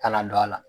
Kana don a la